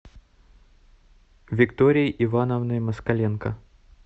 викторией ивановной москаленко